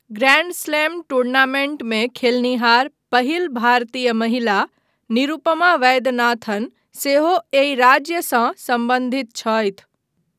Grand slam टूर्नामेन्टमे खेलनिहार पहिल भारतीय महिला निरुपमा वैद्यनाथन सेहो एहि राज्यसँ सम्बद्धित छथि।